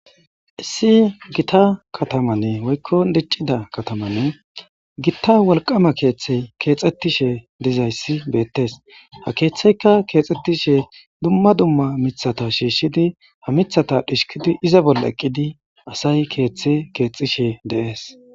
Issi gita kataman woykko diccida kataman gita wolqama keeththey keexetishe dizayssi beettes. Ha keeththeykka keexetishe dumma dumma miththata shiishshidi ha miththata dhishkidi iza bolla eqqidi asay keeththe keexishe de'es.